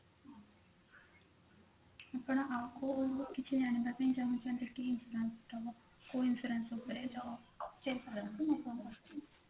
ଆପଣ ଆଉ କିଛି ଜାଣିବା ପାଇଁ ଚାହୁଁଛନ୍ତି କି insurance ଉପରେ